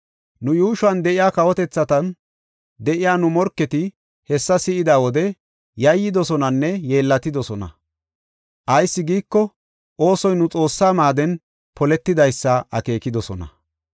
Nu yuushuwan de7iya kawotethatan de7iya nu morketi hessa si7ida wode yayyidosonanne yeellatidosona. Ayis giiko, oosoy nu Xoossaa maaden poletidaysa akeekidosona.